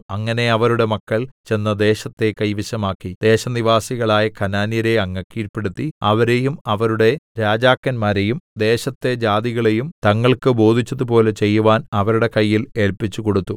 അങ്ങനെ അവരുടെ മക്കൾ ചെന്ന് ദേശത്തെ കൈവശമാക്കി ദേശനിവാസികളായ കനാന്യരെ അങ്ങ് കീഴ്പെടുത്തി അവരെയും അവരുടെ രാജാക്കന്മാരെയും ദേശത്തെ ജാതികളെയും തങ്ങൾക്ക് ബോധിച്ചതുപോലെ ചെയ്യുവാൻ അവരുടെ കയ്യിൽ ഏല്പിച്ചുകൊടുത്തു